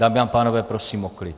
Dámy a pánové, prosím o klid.